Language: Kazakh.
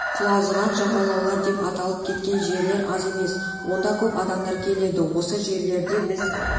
құлазыған жағалаулар деп аталып кеткен жерлер аз емес онда көп адамдар келеді осы жерлерде біз